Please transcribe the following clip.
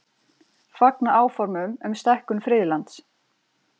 Fagna áformum um stækkun friðlands